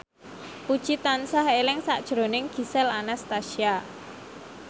Puji tansah eling sakjroning Gisel Anastasia